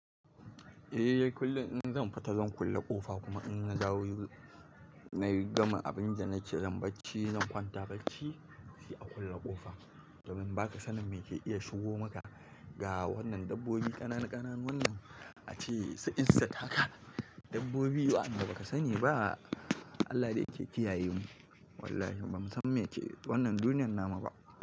Eh kullin in zan fita zan kulle ƙofa kuma in na zawo nayi gama abin da nake zan bacci zan kwanta bacci a kulle ƙofa domin baka sanin me ke iya shigo maka ga wannan dabbobi ƙananun wannan acesu insect haka dabbobi waanda baka sani ba. Allah dai yake kiyaye mu wallahi ba mu san me yake wannan duniyar namu ba.